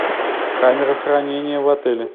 камера хранения в отеле